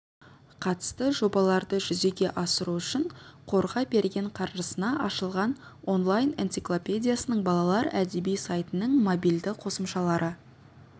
қатысты жобаларды жүзеге асыру үшін қорға берген қаржысына ашылған онлайн-энциклопедиясының балалар әдеби сайтының мобильді қосымшалары